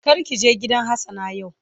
Kar ki je gidan hassana yau.